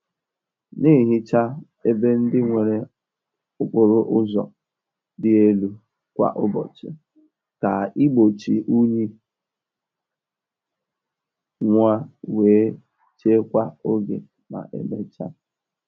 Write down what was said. Na-ehicha ebe ndị nwere okporo ụzọ dị elu kwa ụbọchị ka igbochi unyi nwuo wee chekwaa oge ma emechaa.